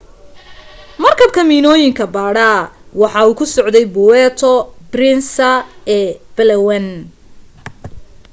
markabka miinooyinka baadha waxa uu ku socday puerto princesa ee palawan